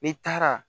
N'i taara